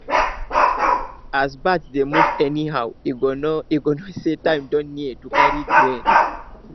as birds dey move anyhow e go know e go know say time don near to carry grain